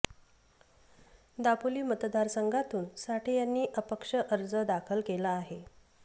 दापोली मतदारसंघातून साठे यांनी अपक्ष अर्ज दाखल केला आहे